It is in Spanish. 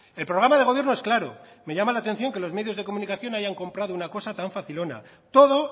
el programa de gobierno es claro me llama la atención que los medios de comunicación hayan comprado una cosa tan facilona todo